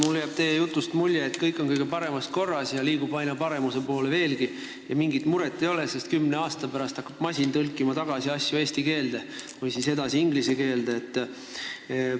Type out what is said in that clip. Mulle jääb teie jutust mulje, et kõik on kõige paremas korras ja liigub aina paremuse poole ning mingit muret ei ole, sest kümne aasta pärast hakkab masin asju tõlkima tagasi eesti keelde või edasi inglise keelde.